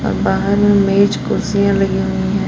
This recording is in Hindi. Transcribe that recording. बाहर में मेज कुर्सियां लगी हुई है।